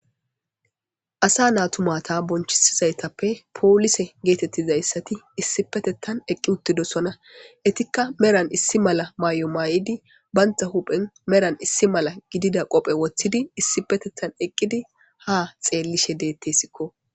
Asa natumata bonchisizaytappe poolise geetettizayssati issi petettan eqqi uttidosona etikka meran issi mala mayo mayidi baynta huphen meran issi mala gidida qophe woththidi issi petettan eqqidi ha xeellishe deettesikko.